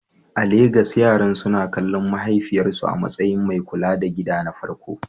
A Legas, yaran suna kallon mahaifiyarsu a matsayin mai kula da gida na farko?